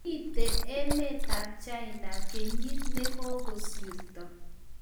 Kyamite emetab China kenyit nekigosirto